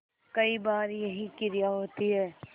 कई बार यही क्रिया होती है